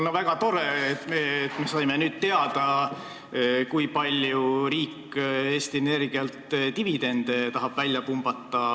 On väga tore, et me saime nüüd teada, kui palju riik Eesti Energialt dividendi tahab välja pumbata.